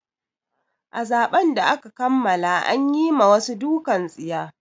A zaben da aka kammala an yi ma wasu dukan tsiya.